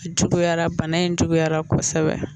A Juguyara bana in juguyara kosɛbɛ